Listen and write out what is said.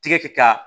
Tigɛ kɛ ka